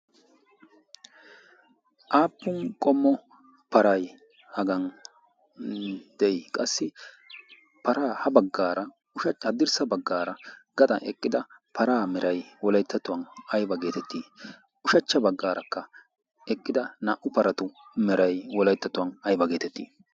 aappun qommo paray hagan de'i? qassi ha haadirssa baggara eqida para meray wolayttatuwan aybba getetti? ushachcha baggarakka eqqda naa''u paratu meray Wolayttatuwan ayyba getetti?